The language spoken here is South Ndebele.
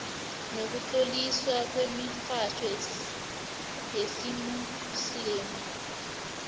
nokutloliswa kwemitjhado yesimuslimu